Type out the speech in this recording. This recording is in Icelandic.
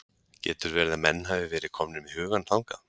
Getur verið að menn hafi verið komnir með hugann þangað?